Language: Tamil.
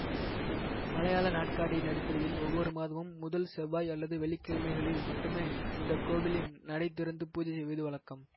மலையாள நாட்காட்டியின் அடிப்படையில் ஒவ்வொரு மாதமும் முதல் செவ்வாய் அல்லது வெள்ளி கிழமைகளில் மட்டுமே இந்த கோவிலின் நடை திறந்து பூஜை செய்வது வழக்கம்